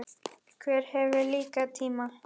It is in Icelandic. Hver hefur líka tíma?